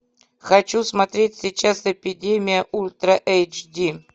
хочу смотреть сейчас эпидемия ультра эйч ди